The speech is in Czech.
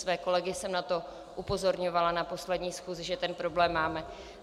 Své kolegy jsem na to upozorňovala na poslední schůzi, že tento problém máme.